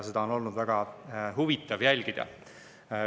Seda on olnud väga huvitav jälgida.